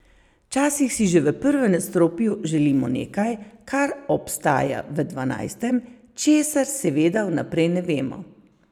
Včasih si že v prvem nadstropju želimo nekaj, kar obstaja v dvanajstem, česar seveda vnaprej ne vemo.